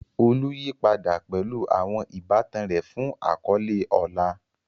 Olu yí padà pẹ̀lú àwọn ìbátan rẹ̀ fún àkọ́lé ọlá.